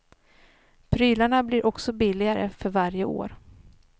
Prylarna blir också billigare för varje år.